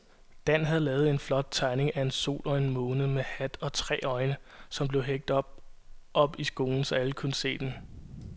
Dan havde lavet en flot tegning af en sol og en måne med hat og tre øjne, som blev hængt op i skolen, så alle kunne se den.